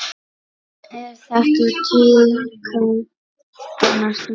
Er þetta tíðkað annars staðar?